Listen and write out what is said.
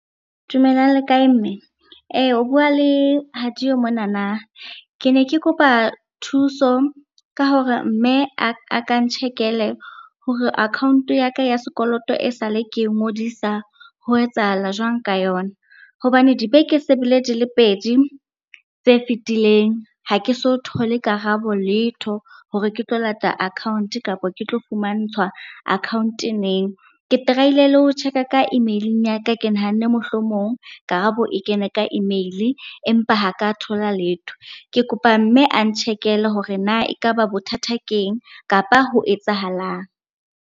Dumelang le kae mme? O bua le Hadiyo monana, ke ne ke kopa thuso ka hore mme a ka ntjhekele hore account-o ya ka ya sekoloto e sale ke e ngodisa ho etsahala jwang ka yona? Hobane dibeke se bile di le pedi tse fetileng, ha ke so thole karabo letho hore ke tlo lata account kapa ke tlo fumantshwa account neng. Ke try-ile le ho check-a ka email-ing ya ka, ke nahanne mohlomong karabo e kene ka email-e empa ha ka thola letho. Ke kopa mme a ntjhekele hore na ekaba bothata keng kapa ho etsahalang.